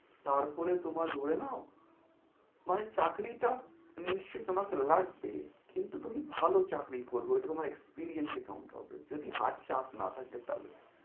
তারপরে তোমার ধরে নাও, মানে চাকরিটা নিশ্চয় তোমাকে লাগবেই। কিন্তু তুমি ভালো চাকরি করবে ঐটা তোমার experience এ count হবে। যদি হাত-চাপ না থাকে তাহলে।